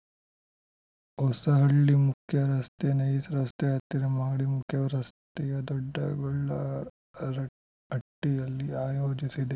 ಹೊಸಹಳ್ಳಿ ಮುಖ್ಯರಸ್ತೆ ನೈಸ್ ರಸ್ತೆ ಹತ್ತಿರ ಮಾಡಿ ಮುಖ್ಯ ರಸ್ತೆಯ ದೊಡ್ಡ ಗೊಲ್ಲರಹಟ್ಟಿಯಲ್ಲಿ ಆಯೋಜಿಸಿದೆ